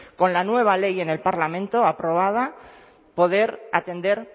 con la nueva ley en el parlamento aprobada poder atender